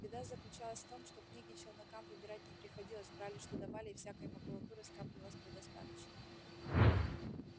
беда заключалась в том что книги челнокам выбирать не приходилось брали что давали и всякой макулатуры скапливалось предостаточно